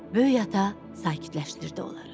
Böyük ata sakitləşdirdi onları.